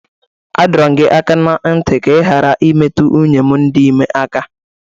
A dọrọ m gi aka na nti ka ị ghara imetụ nwunye m dị ime aka!